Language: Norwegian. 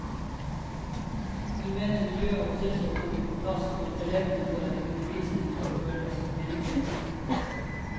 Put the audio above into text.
Hun mener miljø og trivsel kommer på plass når elevene får en undervisning som føles meningsfylt.